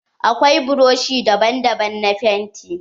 Akwai buroshi daban daban na fenti